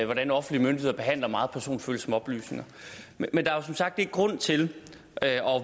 hvordan offentlige myndigheder behandler meget personfølsomme oplysninger men der er jo som sagt ikke grund til at